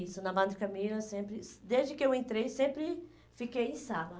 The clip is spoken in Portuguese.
Isso, na Madre Camila, sempre, desde que eu entrei, sempre fiquei em sala.